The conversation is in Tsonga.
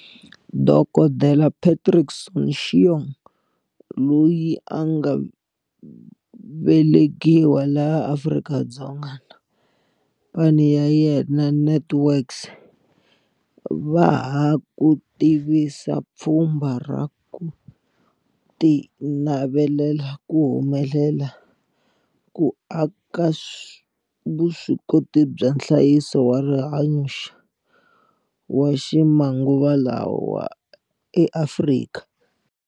Dokodela Patrick Soon-Shiong, loyi a nga vele kiwa laha Afrika-Dzonga na khamphani ya yena NantWorks va ha ku tivisa pfhumba ra ku tinavelela ku humelela ku aka vuswikoti bya nhlayiso wa rihanyo wa ximanguvalawa eAfrika.